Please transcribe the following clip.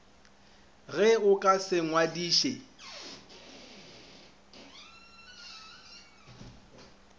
ge o ka se ngwadiše